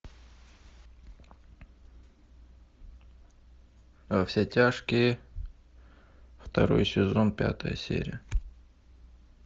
во все тяжкие второй сезон пятая серия